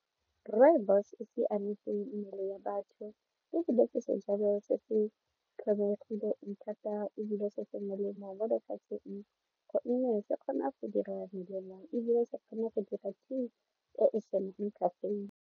Rooibos e siametse mmele ya batho ebile ke sejalo se se tlhomphegileng thata ebile se se melemo mo lefatsheng gonne se kgona go dira melelang ebile se kgone go dira .